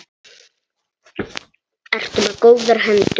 Ertu með góðar hendur?